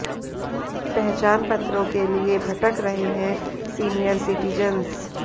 पहचानपत्रों के लिए भटक रहे हैं सीनियर सिटीजंस